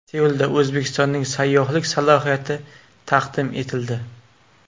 Seulda O‘zbekistonning sayyohlik salohiyati taqdim etildi.